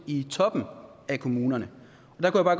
i toppen af kommunerne